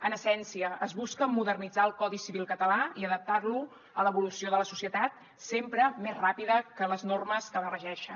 en essència es busca modernitzar el codi civil català i adaptar lo a l’evolució de la societat sempre més ràpida que les normes que la regeixen